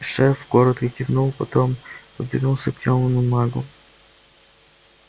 шеф коротко кивнул потом повернулся к тёмному магу